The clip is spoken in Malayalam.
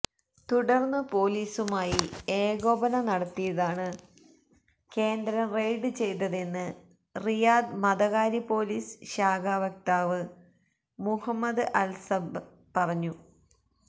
തുടർന്ന് പോലീസുമായി ഏകോപനം നടത്തിയാണ് കേന്ദ്രം റെയ്ഡ് ചെയ്തതെന്ന് റിയാദ് മതകാര്യ പോലീസ് ശാഖാ വക്താവ് മുഹമ്മദ് അൽസബ്ർ പറഞ്ഞു